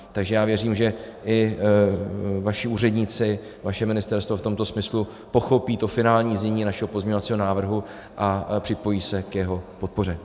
Takže já věřím, že i vaši úředníci, vaše ministerstvo v tomto smyslu pochopí to finální znění našeho pozměňovacího návrhu a připojí se k jeho podpoře.